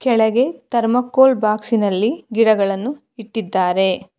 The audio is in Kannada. ಕೆಳಗೆ ಥರ್ಮಾಕೋಲ್ ಬಾಕ್ಸಿನಲ್ಲಿ ಗಿಡಗಳನ್ನು ಇಟ್ಟಿದ್ದಾರೆ.